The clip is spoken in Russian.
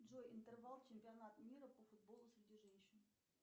джой интервал чемпионат мира по футболу среди женщин